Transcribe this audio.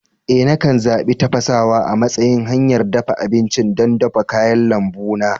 Eh, nakan zaɓi tafasawa a matsayin hanyar dafa abinci don dafa kayan lambu na.